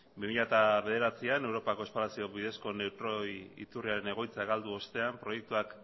bi mila bederatzian europako espalazio bidezko neutroi iturriaren egoitza galdu ostean proiektuak